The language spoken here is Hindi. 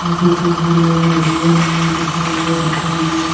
कोको कोला मधुवन लिखा हुआ दुकान है।